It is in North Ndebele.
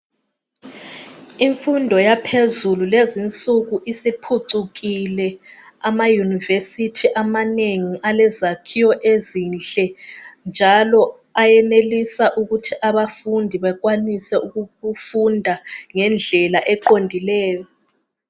imfundo yaphezulu lezinsuku isiphucukile ama university amanengi alezakhiwo ezinhle njalo ayanelisa ukuthi abafundi benelise ukufunda ngendlela eqondileyo